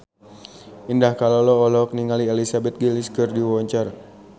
Indah Kalalo olohok ningali Elizabeth Gillies keur diwawancara